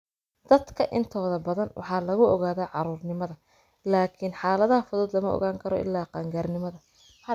Dadka intooda badan waxaa lagu ogaadaa caruurnimada, laakiin xaaladaha fudud lama ogaan karo ilaa qaangaarnimada.